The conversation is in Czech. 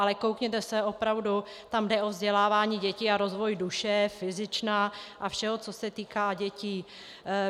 Ale koukněte se opravdu, tam jde o vzdělávání dětí a rozvoj duše, fyzična a všeho, co se týká dětí.